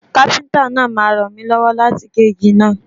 Kápẹ́ńtà náà máa ràn mi lọ́wọ́ láti gé igi náà